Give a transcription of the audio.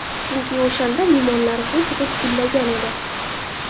Chunki o‘shanda limonlar g‘uj-g‘uj gullagan edi.